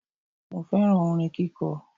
Mo féràn orin kíko